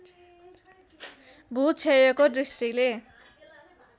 भूक्षयको दृष्टिले